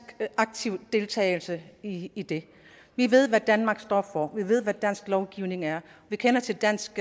aktiv deltagelse i i det vi ved hvad danmark står for vi ved hvad dansk lovgivning er vi kender til dansk